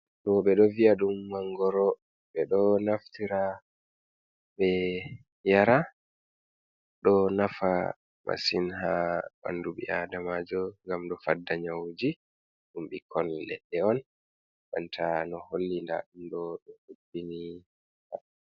Ɗo beɗo vi'a ɗum mangoro. Be ɗo naftira be yara. Ɗo nafa masin ha banɗu bi aɗamajo ngam ɗo faɗɗa nyahuji. Ɗum bikkon leɗɗe on banta no holli nɗa ɗum ɗo be ɗubbini.